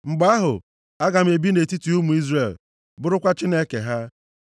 Mgbe ahụ, aga m ebi nʼetiti ụmụ Izrel, bụrụkwa Chineke ha.